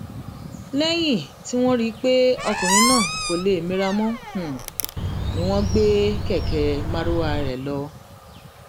lẹyìn tí wọn rí i pé ọkùnrin náà kò lè mira mọ ni wọn gbé kẹkẹ marwa rẹ lọ